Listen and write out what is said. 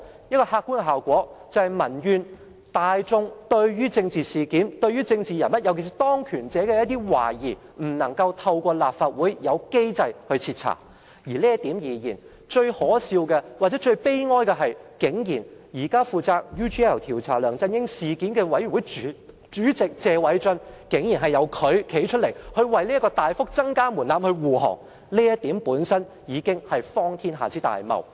這個客觀的效果就是民怨，大眾對於政治事件、政治人物，尤其是當權者的一些懷疑，未能透過立法會既有機制徹查。就這點而言，最可笑的或最悲哀的是，現在負責調查"梁振英 UGL 事件"的專責委員會主席謝偉俊議員，竟然站出來為這個大幅提升門檻護航。這點本身已經是"荒天下之大謬"。